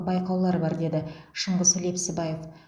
байқаулар бар деді шыңғыс лепсібаев